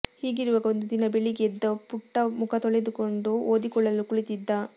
ಹೀಗಿರುವಾಗ ಒಂದು ದಿನ ಬೆಳಿಗ್ಗೆ ಎದ್ದ ಪುಟ್ಟ ಮುಖ ತೊಳೆದುಕೊಂಡು ಓದಿಕೊಳ್ಳಲು ಕುಳಿತಿದ್ದ